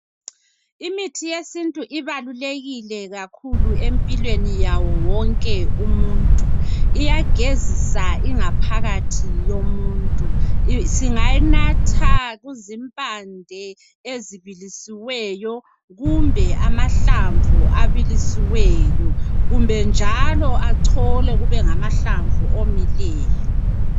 Imithi yesintu ibalulekile kakhulu empilweni yawo wonke umuntu. Iyagezisa ingaphakathi yomuntu. Singayinatha kuzimpande ezibilisiweyo kumbe amahlamvu abilisiweyo kumbe njalo acholwe kube ngamahlamvu omileyo.